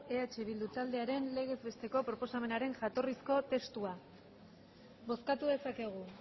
eh bildu taldearen legez besteko proposamenaren jatorrizko testua bozkatu dezakegu